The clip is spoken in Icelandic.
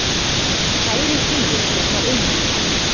Kærir bíó vegna auglýsinga